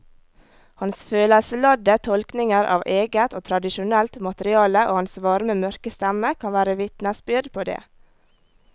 Hans følelsesladde tolkninger av eget og tradisjonelt materiale og hans varme mørke stemme kan være vitnesbyrd på det.